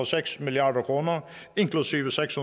seks milliard kroner inklusive seks